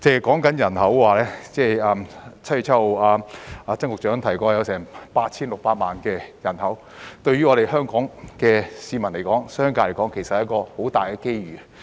單是人口來說，曾局長於7月7日提過該處有 8,600 萬人口，對香港市民及商界來說是很大的機遇。